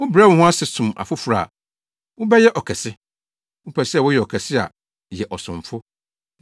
Wobrɛ wo ho ase som afoforo a, wobɛyɛ ɔkɛse. Wopɛ sɛ woyɛ ɔkɛse a, yɛ ɔsomfo.